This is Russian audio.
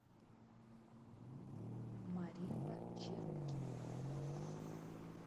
маримба чероки